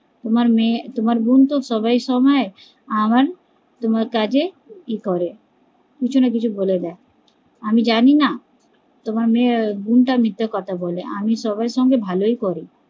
তোমার মেয়ে তোমার বোন তো সবে সবে আমায় তোমার কাছে কিছু না কিছু বলে দেয়, আমি জানি না, তোমার বোন টা মিথ্যে কথা বলে, আমি সবার সঙ্গে ভালোই করি